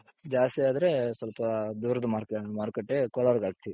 ಜಾಸ್ತಿ ಆದ್ರೆ ಸ್ವಲ್ಪ ದೂರದ market ಕೋಲಾರ್ ಗೆ ಹಾಕ್ತೀವಿ.